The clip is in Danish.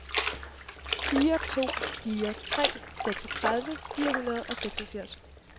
fire to fire tre seksogtredive fire hundrede og seksogfirs